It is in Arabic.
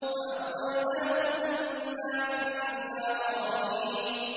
فَأَغْوَيْنَاكُمْ إِنَّا كُنَّا غَاوِينَ